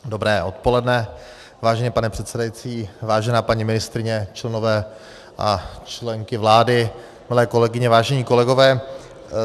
Dobré odpoledne, vážený pane předsedající, vážená paní ministryně, členové a členky vlády, milé kolegyně, vážení kolegové.